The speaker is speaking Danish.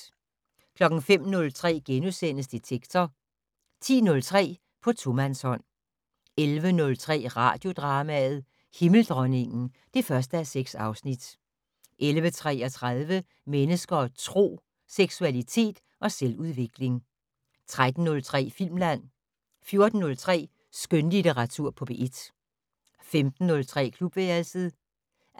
05:03: Detektor * 10:03: På tomandshånd 11:03: Radiodrama: Himmeldronningen (1:6) 11:33: Mennesker og Tro: Seksualitet og selvudvikling 13:03: Filmland 14:03: Skønlitteratur på P1 15:03: Klubværelset 18:25: